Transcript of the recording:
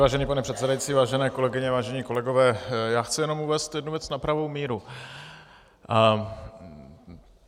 Vážený pane předsedající, vážené kolegyně, vážení kolegové, já chci jenom uvést jednu věc na pravou míru.